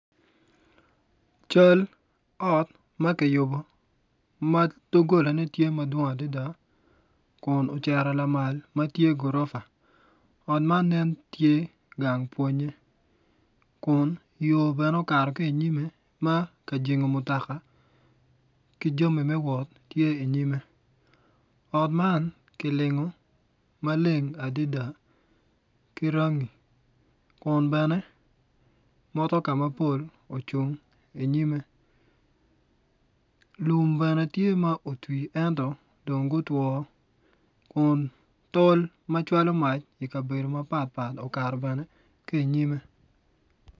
Cal ot ma kiyubo ma dogolane tye madwong adada kun ocito lamal ma tye gurofa ot man nen tye gang pwonye kun yo bene okato ki inyimme ma ka jengo mutoka ki jami me wot tye inyimme ot man kilingo maleng adada ki rangi kun bene motoka mapol ocung inyimme lum bene tye ma otwi ento dong gutwo kun tol ma cwalo mac ikabedo mapatpat okato bene ki inyimme.